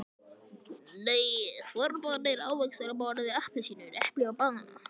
Nei, forboðnir ávextir á borð við appelsínur, epli og banana.